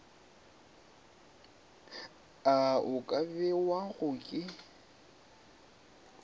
ao a ka bewago ke